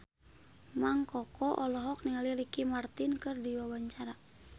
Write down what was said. Mang Koko olohok ningali Ricky Martin keur diwawancara